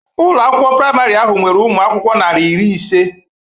Ụlọ akwụkwọ praịmarị ahụ nwere umụ akwụkwọ narị iri ise